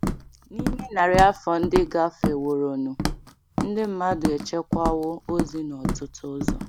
N’ime narị afọ ndị gafeworonụ, ndị mmadụ echekwawo ozi n’ọtụtụ ụzọ.